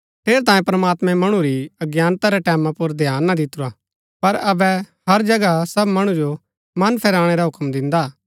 ठेरैतांये प्रमात्मैं मणु री अज्ञानता रै टैमां पुर ध्यान ना दितुरा पर अबै हर जगह सब मणु जो मन फेराणै रा हूक्म दिन्दा हा